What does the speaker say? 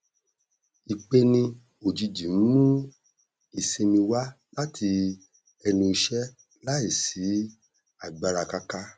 ìpeni ojìjì n mú ìsinmi wá láti ẹnu iṣẹ láì sí agbára káká